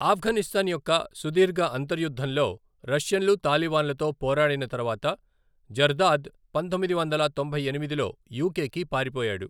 ఆఫ్ఘనిస్తాన్ యొక్క సుదీర్ఘ అంతర్యుద్ధంలో రష్యన్లు, తాలిబాన్లతో పోరాడిన తర్వాత జర్దాద్ పంతొమ్మిది వందల తొంభై ఎనిమిదిలో యూకే కి పారిపోయాడు.